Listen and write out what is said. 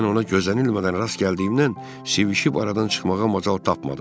Mən ona gözənilmədən rast gəldiyimdən svişib aradan çıxmağa macal tapmadım.